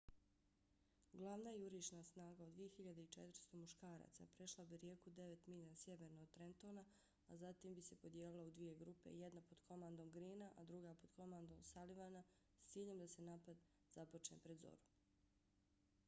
glavna jurišna snaga od 2.400 muškaraca prešla bi rijeku devet milja sjeverno od trentona a zatim bi se podijelila u dvije grupe – jedna pod komandom greena a druga pod komandom sullivana s ciljem da se napad započne pred zoru